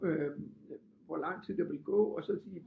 Øh hvor lang tid der ville gå og så at sige